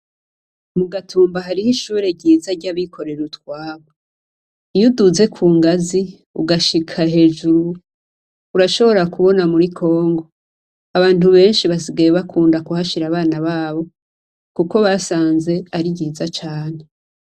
Mugatumba hariho ishure ryiza ryabikorera utwabo. Iyo uduze kungazi ugashika hejuru, urashobora kubona muri Congo abantu benshi basigaye bakunda kuhashira abana babo kuko basanze ari nziza cane.